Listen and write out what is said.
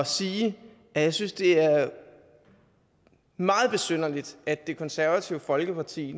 sige at jeg synes det er meget besynderligt at det konservative folkeparti